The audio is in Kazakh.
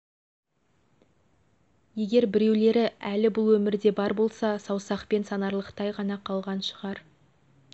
егер біреулері әлі бұл өмірде бар болса саусақпен санарлықтай ғана қалған шығар